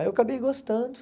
Aí eu acabei gostando.